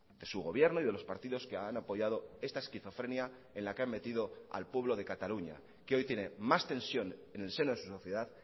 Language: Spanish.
de su gobierno y de los partidos que han apoyado esta esquizofrenia en la que han metido al pueblo de cataluña que hoy tiene más tensión en el seno de su sociedad